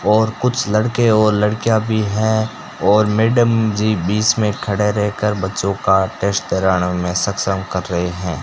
और कुछ लड़के और लड़कियां भी हैं और मैडम जी बीच में खड़े रहकर बच्चों का टेस्ट में सक्षम कर रहे हैं।